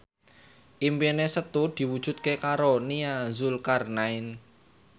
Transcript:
impine Setu diwujudke karo Nia Zulkarnaen